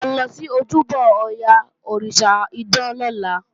À ń lọ sí ojúbọ Ọya, òrìṣà idán lọ́la